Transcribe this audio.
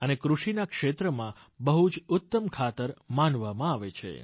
અને કૃષિના ક્ષેત્રમાં બહુ જ ઉત્તમ ખાતર માનવામાં આવે છે